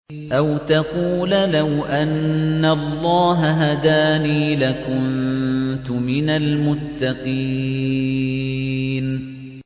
أَوْ تَقُولَ لَوْ أَنَّ اللَّهَ هَدَانِي لَكُنتُ مِنَ الْمُتَّقِينَ